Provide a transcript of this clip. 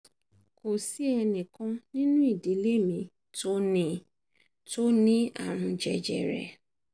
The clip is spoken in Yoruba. kò sí ẹnìkan kan nínú ìdílé mi tó ní tó ní àrùn jẹjẹrẹ